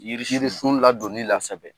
Yiriirisi sun ladoni la kosɛbɛ